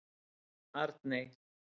Arney